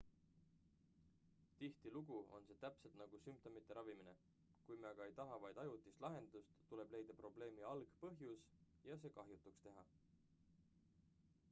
tihtilugu on see täpselt nagu sümptomite ravimine kui me aga ei taha vaid ajutist lahendust tuleb leida probleemi algpõhjus ja see kahjutuks teha